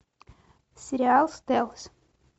сериал стелс